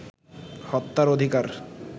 হত্যার অধিকার